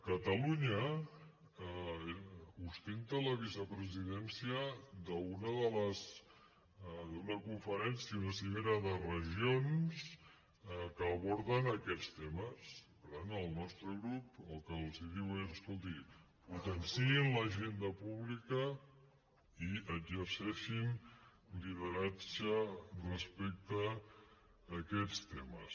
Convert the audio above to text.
catalunya ostenta la vicepresidència d’una conferència una cimera de regions que aborden aquests temes per tant el nostre grup el que els diu és escoltin potenciïn l’agenda pública i exerceixin lideratge respecte a aquests temes